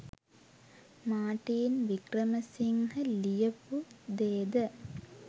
Martin Wickramasinghe ලියපු දේද